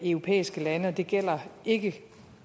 europæiske lande det gælder ikke